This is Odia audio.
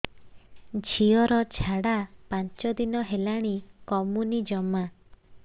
ଝିଅର ଝାଡା ପାଞ୍ଚ ଦିନ ହେଲାଣି କମୁନି ଜମା